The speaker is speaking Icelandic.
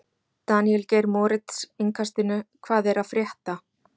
Daníel Geir Moritz, Innkastinu: Hvað er að frétta?